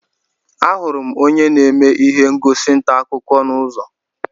Ahụrụ m onye na-eme ihe ngosi ntaakụkọ n'ụzọ